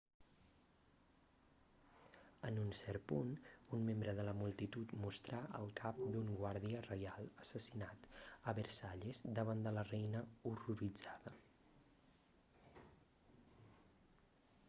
en un cert punt un membre de la multitud mostrà el cap d'un guàrdia reial assassinat a versalles davant de la reina horroritzada